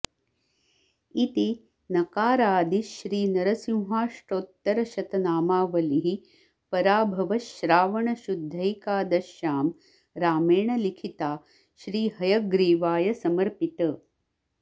इति नकारादि श्री नरसिंहाष्टोत्तरशतनामावलिः पराभव श्रावणशुद्धैकादश्यां रामेण लिखिता श्री हयग्रीवाय समर्पित